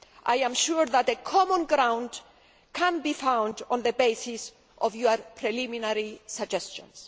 I am sure that common ground can be found on the basis of your preliminary suggestions.